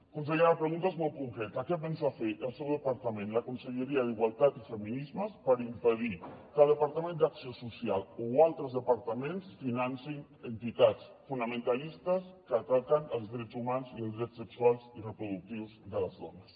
consellera la pregunta és molt concreta què pensa fer el seu departament la conselleria d’igualtat i feminismes per impedir que el departament d’acció social o altres departaments financin entitats fonamentalistes que ataquen els drets humans i els drets sexuals i reproductius de les dones